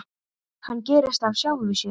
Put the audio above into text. Hann gerist af sjálfu sér.